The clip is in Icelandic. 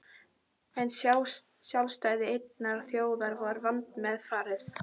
En sjálfstæði einnar þjóðar er vandmeðfarið.